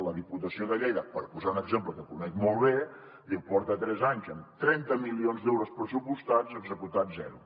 la diputació de lleida per posar ne un exemple que conec molt bé porta tres anys amb trenta milions d’euros pressupostats executat zero